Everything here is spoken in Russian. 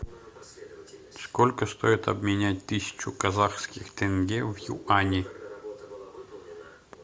сколько стоит обменять тысячу казахских тенге в юани